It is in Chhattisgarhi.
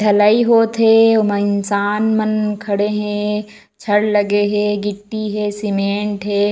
ढलई होथे ओमा इन्सान मन खड़े हे छड़ लगे हे गिट्टी हे सीमेंट हे।